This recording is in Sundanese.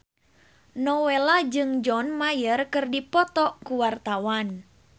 Nowela jeung John Mayer keur dipoto ku wartawan